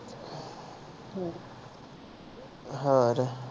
ਹੋਰ